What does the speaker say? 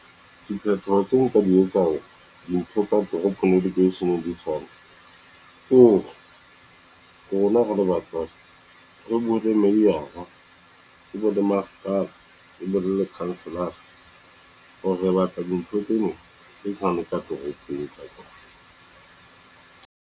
Diphethoho tse nka di etsang hore dintho tsa toropong di ke se tshwane ke hore rona re le batswadi, re buwe mayor-a le bo masepala re buwe councillor-a hore re batla dintho tseno tse fanang ka toropong.